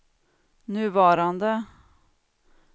nuvarande